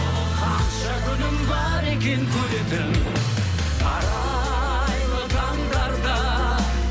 қанша күнім бар екен көретін арайлы таңдарда